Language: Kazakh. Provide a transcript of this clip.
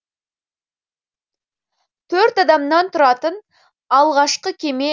төрт адамнан тұратын алғашқы кеме